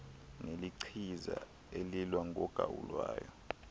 nelichiza elilwa nogawulayo